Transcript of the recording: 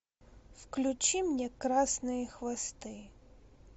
включи мне красные хвосты